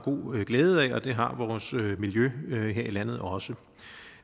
glæde af og det har vores miljø miljø her i landet også